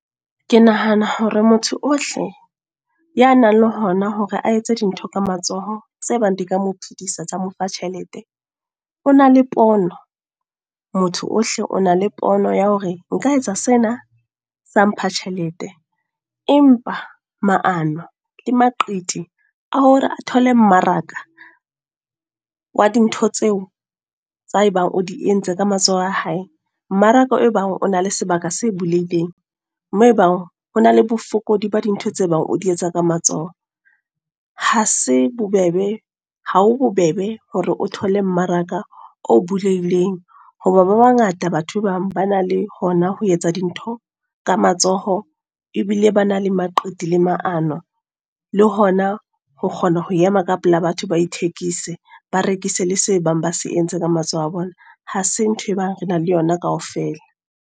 Ke nahana hore motho ohle. Ya nang le hona hore a etse dintho ka matsoho, tse bang di ka mo phedisa tsa mo fa tjhelete. O na le pono, motho ohle o na le pono ya hore nka etsa sena sa mpha tjhelete. Empa maano, le maqiti a hore a thole mmaraka, wa dintho tseo tsa ebang o di entse ka matsoho a hae. Mmaraka e bang o na le sebaka se bulehileng. Moo ebang ho na le bofokodi ba dintho tse bang o di etsa ka matsoho. Ha se bobebe, ha ho bobebe hore o thole mmaraka o bulehileng. Hoba ba bangata batho bang ba na le hona ho etsa dintho ka matsoho, ebile ba na le maqithi le maano. Le hona ho kgona ho ema ka pela batho ba ithekise. Ba rekise le se bang ba se entse ka matsoho a bona. Ha se ntho e bang re na le yona kaofela.